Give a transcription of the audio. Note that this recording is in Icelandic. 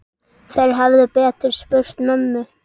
Þeir hefðu betur spurt mömmu.